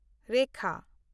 ᱨᱮᱠᱷᱟ